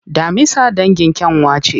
Daminsa dangin kyanwa ce.